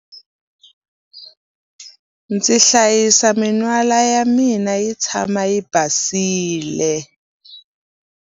Ndzi hlayisa min'wala ya mina yi tshama yi basile.